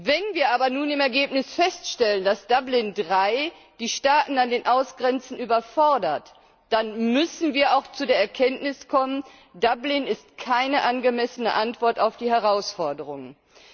Wenn wir aber nun im Ergebnis feststellen, dass Dublin III die Staaten an den Außengrenzen überfordert, dann müssen wir auch zu der Erkenntnis kommen, dass Dublin keine angemessene Antwort auf die Herausforderungen ist.